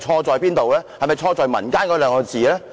是否錯在"民間"兩個字呢？